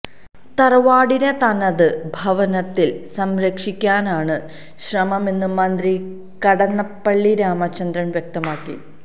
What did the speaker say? തറവാടിനെ തനത് ഭാവത്തില് സംരക്ഷിക്കാനാണ് ശ്രമമെന്ന് മന്ത്രി കടന്നപ്പള്ളി രാമചന്ദ്രന് വ്യക്തമാക്കി